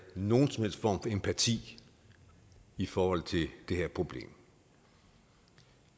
nogen som helst form empati i forhold til det her problem